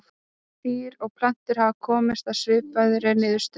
Dýr og plöntur hafa komist að svipaðri niðurstöðu.